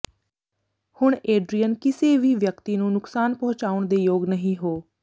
ਹੁਣ ਏਡਰੀਅਨ ਕਿਸੇ ਵੀ ਵਿਅਕਤੀ ਨੂੰ ਨੁਕਸਾਨ ਪਹੁੰਚਾਉਣ ਦੇ ਯੋਗ ਨਹੀ ਹੋ